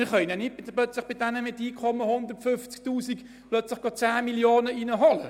Wir können nicht bei denjenigen mit einem Einkommen von 150 000 Franken plötzlich 10 Mio. Franken reinholen.